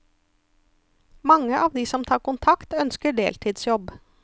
Mange av de som tar kontakt, ønsker deltidsjobb.